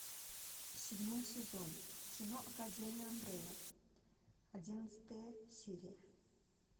седьмой сезон кино академия амбрелла одиннадцатая серия